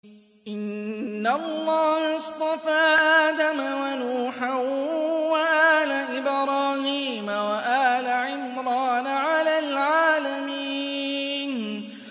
۞ إِنَّ اللَّهَ اصْطَفَىٰ آدَمَ وَنُوحًا وَآلَ إِبْرَاهِيمَ وَآلَ عِمْرَانَ عَلَى الْعَالَمِينَ